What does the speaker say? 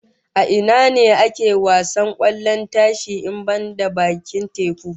A ina ne ake wasar kwallon tashi in banda bakin teku?